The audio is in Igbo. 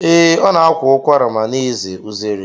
Ee, ọ na-akwa ụkwara ma na-eze uzere.